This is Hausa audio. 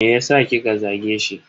Meyasa kika zage shi?